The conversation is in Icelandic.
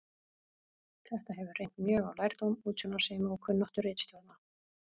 Þetta hefur reynt mjög á lærdóm, útsjónarsemi og kunnáttu ritstjórnar.